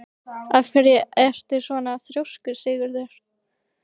Af hverju ertu svona þrjóskur, Sigurður?